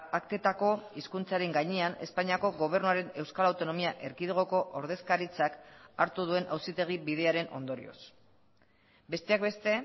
aktetako hizkuntzaren gainean espainiako gobernuaren euskal autonomia erkidegoko ordezkaritzak hartu duen auzitegi bidearen ondorioz besteak beste